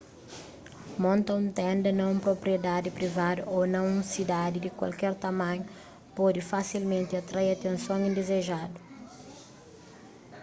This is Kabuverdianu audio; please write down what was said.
monta un tenda na un propriedadi privadu ô na un sidadi di kualker tamanhu pode fasilmenti atrai atenson indizejadu